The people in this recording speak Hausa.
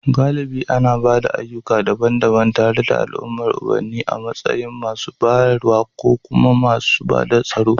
Galibi ana ba da ayyuka daban-daban, tare da al'adar ubanni a matsayin masu bayarwa kuma masu bada tsaro.